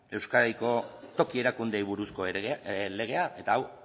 euskadiko toki erakundeei buruzko legea eta hau